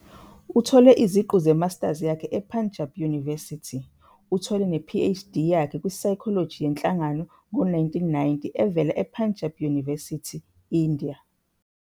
Uthole iziqu ze-master yakhe ePunjab University. Uthole ne-Ph.D. Yakhe. kwi-Psychology yenhlangano ngo-1990 evela ePunjab University India.